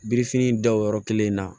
Birifini da o yɔrɔ kelen na